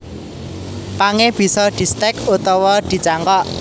Pangé bisa distèk utawa dicangkok